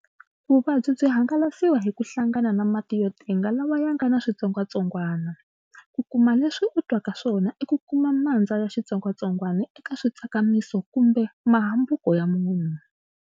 Vuvabyi byi hangalasiwa hi ku hlangana na mati yo tenga lawa ya nga na switsongwatsongwana. Ku kuma leswi u twaka swona i ku kuma mandza ya xitsongwatsongwana eka mitsakamiso kumbe mahambuka ya munhu.